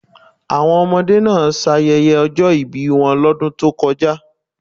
Àwọn ọmọdé náà ṣayẹyẹ ọjọ́ ìbí wọn lọ́dún tó kọjá.